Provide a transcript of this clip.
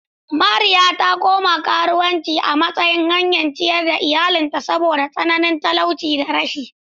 Mariya ta koma karuwanci a matsayin hanyar ciyar da iyalinta saboda tsananin talauci da rashi.